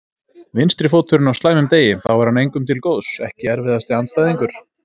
Vinstri fóturinn á slæmum degi, þá er hann engum til góðs Ekki erfiðasti andstæðingur?